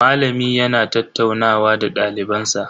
Malami yana tattaunawa da daliban sa.